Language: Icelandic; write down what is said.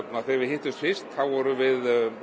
þegar við hittumst fyrst vorum við